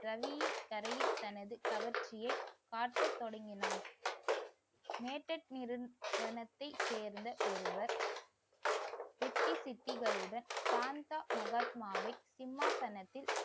ரவியின் கரையில் தனது கவர்ச்சியை காட்டத் தொடங்கினான் சேர்ந்த ஒருவர் சித்தி சித்திகளுடன் சாந்த மகாத்மாவை, சிம்மாசனத்தில்